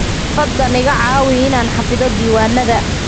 Fadlan iga caawi inaan xafido diiwaannada